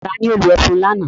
Ta ni ó lo ẹfun lánàá?